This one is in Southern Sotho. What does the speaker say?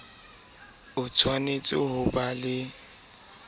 o tshwanetse ho ba le